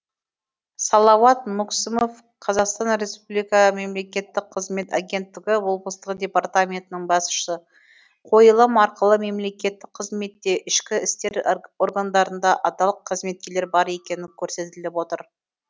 салауат мүксімов қр мемлекеттік қызмет агенттігі облыстық департаментінің басшысы қойылым арқылы мемлекеттік қызметте ішкі істер органдарында адал қызметкерлер бар екенін көрсетіліп отыр